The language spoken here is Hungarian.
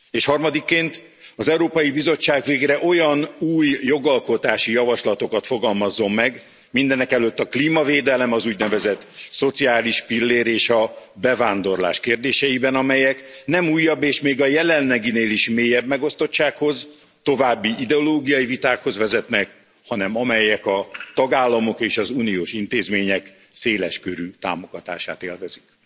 És harmadikként az Európai Bizottság végre olyan új jogalkotási javaslatokat fogalmazzon meg, mindenekelőtt a klímavédelem, az úgynevezett szociális pillér és a bevándorlás kérdéseiben, amelyek nem újabb és még a jelenleginél is mélyebb megosztottsághoz, további ideológiai vitákhoz vezetnek, hanem amelyek a tagállamok és az uniós intézmények széles körű támogatását élvezik.